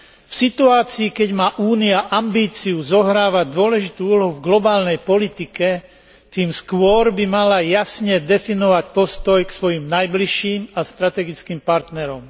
V situácii, keď má Únia ambíciu zohrávať dôležitú úlohu v globálnej politike, by tým skôr mala jasne definovať postoj k svojim najbližším a strategickým partnerom.